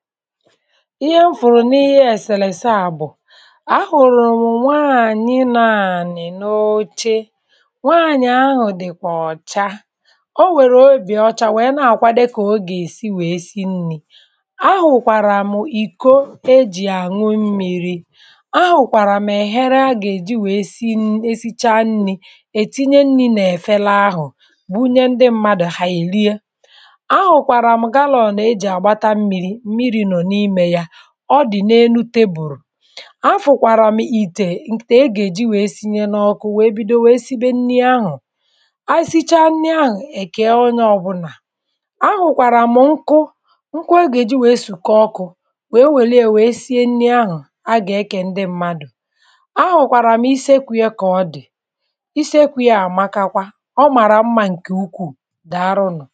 ihe m hụrụ n’ihe eselese a bụ ahụrụ mụ nwaanyị nọ̀ ànị n’oche nwaanyị ahụ dịkwa ọ̀cha. O nwèrè òbi ọcha wee na akwadē ka ọ gà-èsi wee si nni ahụkwara mụ ìko e ji aṅụ mmiri ahụkwara mụ èhere a gà-èji wee si esicha nni ètinye nni n’efelē ahụ bunye ndị mmadụ ha èliè Ahụkwara mụ galon e ji agbata mmiri mmiri nọ n’ime ya. Ọ dị n’enu teburu Afụkwara mụ̀ ìtè ìtè e gà-èji wee sinye n’ọkụ mwee bido wee sibe nni ahụ Anyị sichaa nni ahụ èkee onye ọbụla Ahụkwara mụ nkụ, Nkụ a gà-èji wee sukọọ ọkụ wee welie wee sie nni ahụ̀ a gà-èkē ndị mmadụ̀ Ahụkwara mụ iseekwù ya ka ọ̀ dị. Iseekwu ya àmaka kwa. Ọ mara mma ǹke ukwuu daarụ nụ̀